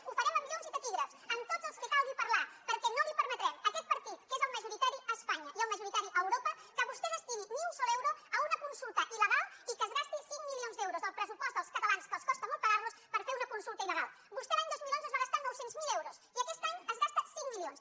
ho farem amb llums i taquígrafs amb tots els que calgui parlar perquè no li permetrem aquest partit que és majoritari a espanya i el majoritari a europa que vostè destini ni un sol euro a una consulta il·legal ni que es gasti cinc milions d’euros del pressupost dels catalans que els costa molt pagar los per fer una consulta ili aquest any se’n gasta cinc milions